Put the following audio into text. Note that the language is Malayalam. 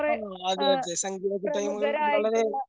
ആന്നുആന്നു. വളരെ